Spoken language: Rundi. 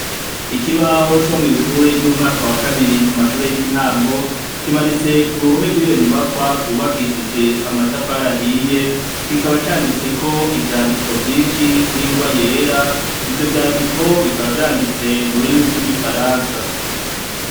Ikibaho co mw'ishure ry'umwaka wa kabiri ku ma shure y'intango kimanitse ku ruhome rwiyo nyubakwa rwubakishije amatafari ahiye kikaba canditseko ivyandiko vyinshi n'ingwa yera ; ivyo vyandiko bikaba vyanditse mu rurimi rw'igifaransa.